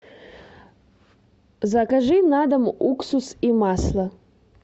закажи на дом уксус и масло